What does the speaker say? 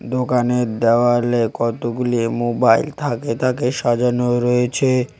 দোকানের দেওয়ালে কতগুলি মোবাইল থাকে থাকে সাজানো রয়েছে।